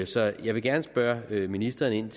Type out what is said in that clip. så jeg vil gerne spørge ministeren